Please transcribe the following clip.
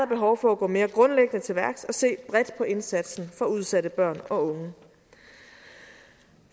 behov for at gå mere grundlæggende til værks og se bredt på indsatsen for udsatte børn og unge